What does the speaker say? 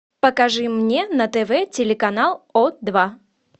покажи мне на тв телеканал о два